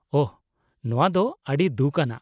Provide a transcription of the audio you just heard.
-ᱳᱦ, ᱱᱚᱣᱟ ᱫᱚ ᱟᱹᱰᱤ ᱫᱩᱠᱷ ᱟᱱᱟᱜ ᱾